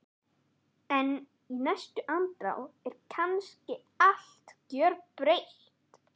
En í næstu andrá er kannski allt gjörbreytt.